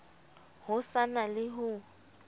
ho sa na le ho